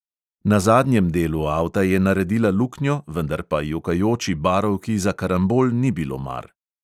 Na zadnjem delu avta je naredila luknjo, vendar pa jokajoči barovki za karambol ni bilo mar.